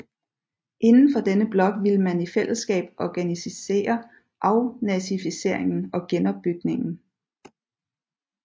Indenfor denne blok ville man i fællesskab organisere afnazificeringen og genopbygningen